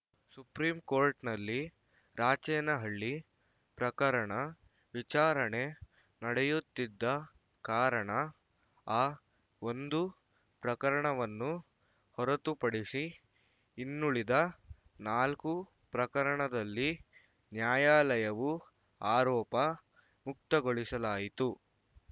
ಸುಪ್ರೀಂಕೋರ್ಟ್‌ನಲ್ಲಿ ರಾಚೇನಹಳ್ಳಿ ಪ್ರಕರಣ ವಿಚಾರಣೆ ನಡೆಯುತ್ತಿದ್ದ ಕಾರಣ ಆ ಒಂದು ಪ್ರಕರಣವನ್ನು ಹೊರತುಪಡಿಸಿ ಇನ್ನುಳಿದ ನಾಲ್ಕು ಪ್ರಕರಣದಲ್ಲಿ ನ್ಯಾಯಾಲಯವು ಆರೋಪ ಮುಕ್ತಗೊಳಿಸಲಾಯಿತು